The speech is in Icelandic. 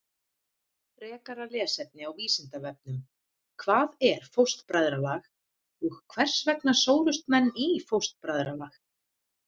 Frekara lesefni á Vísindavefnum: Hvað er fóstbræðralag og hvers vegna sórust menn í fóstbræðralag?